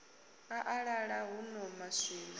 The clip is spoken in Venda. a a ḓaḓa huno maswina